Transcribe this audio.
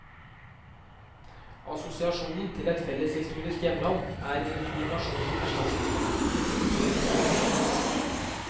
Assosiasjonen til et felles historisk hjemland er i nasjonen erstattet av faktisk besittelse av landet.